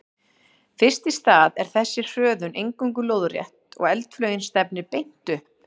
Fyrst í stað er þessi hröðun eingöngu lóðrétt og eldflaugin stefnir beint upp.